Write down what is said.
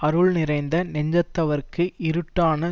அருள் நிறைந்த நெஞ்சத்தவர்க்கு இருட்டான